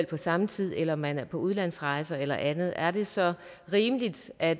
på samme tid eller at man er på udlandsrejse eller andet er det så rimeligt at